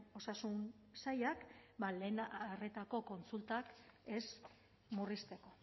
osasun sailak lehen arretako kontsultak ez murrizteko